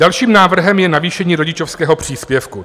Dalším návrhem je navýšení rodičovského příspěvku.